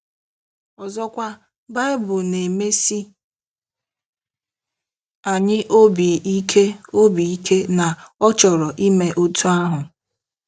Ọzọkwa, Bible na-emesi anyị obi ike obi ike na ọ chọrọ ime otú ahụ.